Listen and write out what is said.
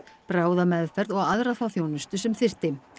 bráðameðferð og aðra þá þjónustu sem þyrfti